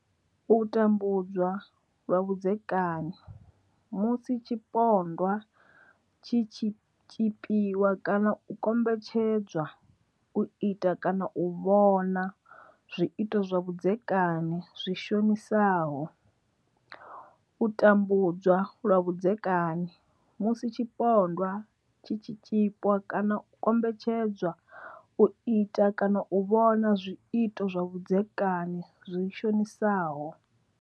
U tambudzwa lwa vhudzekani musi tshipondwa tshi tshi tshipiwa kana u kombetshedzwa u ita kana u vhona zwiito zwa vhudzekani zwi shonisaho. U tambudzwa lwa vhudzekani musi tshipondwa tshi tshi tshipiwa kana u kombetshedzwa u ita kana u vhona zwiito zwa vhudzekani zwi shonisaho.